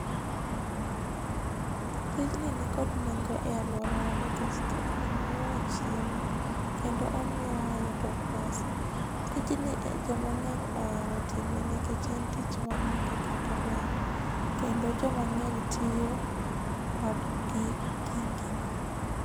Tijni nikod nengo e aluora wa nikech tijni miyo wa chiemo kendo omiyo wa pesa. Tijni joma ngeny ohero time nikech en tich maonge kata kendo joma ngeny tiyo kod gigi